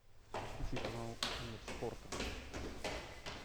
включи канал мир спорта